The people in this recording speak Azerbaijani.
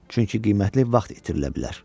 Çünki qiymətli vaxt itirilə bilər.